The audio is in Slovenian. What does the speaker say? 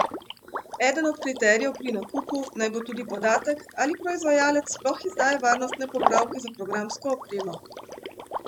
Eden od kriterijev pri nakupu naj bo tudi podatek, ali proizvajalec sploh izdaja varnostne popravke za programsko opremo!